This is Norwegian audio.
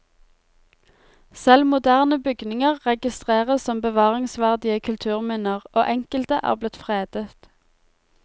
Selv moderne bygninger registreres som bevaringsverdige kulturminner, og enkelte er blitt fredet.